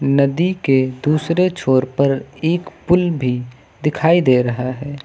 नदी के दूसरे छोर पर एक पुल भी दिखाई दे रहा है।